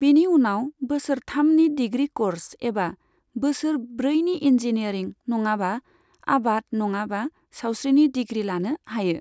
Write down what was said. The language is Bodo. बिनि उनाव बोसोर थामनि डिग्री क'र्स एबा बोसोर ब्रैनि इन्जिनियरिं नङाबा आबाद नङाबा सावस्रिनि डिग्री लानो हायो।